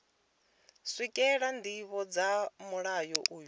swikelela ndivho dza mulayo uyu